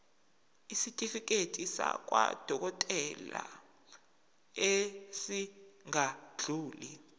isitifiketi sakwadokodela esingadluli